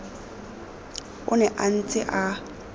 o ne a ntse a